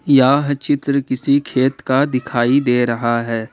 यह चित्र किसी खेत का दिखाई दे रहा है ।